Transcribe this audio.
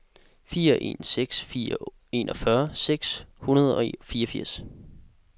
fire en seks fire enogfyrre seks hundrede og fireogfirs